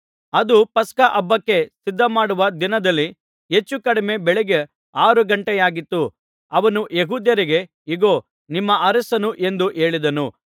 ಅದು ಪಸ್ಕ ಹಬ್ಬಕ್ಕೆ ಸಿದ್ಧಮಾಡುವ ದಿನದಲ್ಲಿ ಹೆಚ್ಚು ಕಡಿಮೆ ಬೆಳಿಗ್ಗೆ ಆರು ಘಂಟೆಯಾಗಿತ್ತು ಅವನು ಯೆಹೂದ್ಯರಿಗೆ ಇಗೋ ನಿಮ್ಮ ಅರಸನು ಎಂದು ಹೇಳಿದನು